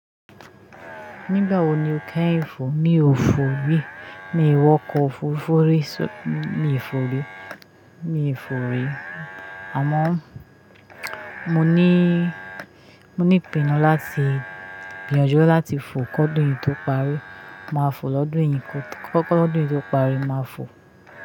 Nígbà wo ni o kẹ́yin fò? Mi ò fò rí, mi ò wọkọ̀ ofurufu ri, mi ò fò rí, mi ò fò rí. Àmọ́ mo ní, mo ní ìpinnu láti gbìyànjú láti fò kọ dún yìí tó parí. Màá fò lọ́dún yìí kọ́ ọdún yìí tó parí, màá fò.